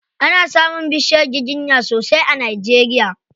Ana samun bishiyar giginya sosai a Najeria.